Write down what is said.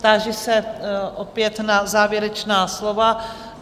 Táži se opět na závěrečná slova